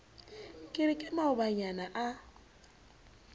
ke re ke maobanyana a